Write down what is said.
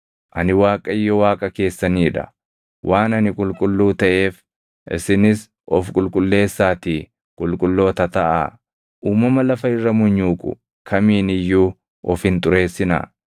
Ani Waaqayyo Waaqa keessanii dha; waan ani qulqulluu taʼeef isinis of qulqulleessaatii qulqulloota taʼaa. Uumama lafa irra munyuuqu kamiin iyyuu of hin xureessinaa.